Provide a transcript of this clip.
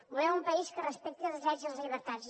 volem un país que respecti els drets i les llibertats